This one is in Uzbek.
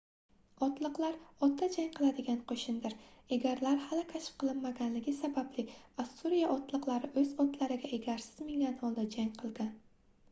otliqlar otda jang qiladigan qoʻshindir egarlar hali kashf qilinmaganligi sababli ossuriya otliqlari oʻz otlariga egarsiz mingan holda jang qilgan